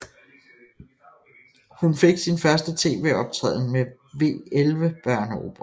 Hun fik sin første TV optræden med W11 børneoperaen